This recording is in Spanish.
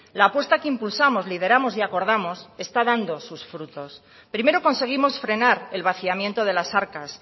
la apuesta que impulsamos lideramos y acordamos está dando sus frutos primero conseguimos frenar el vaciamiento de las arcas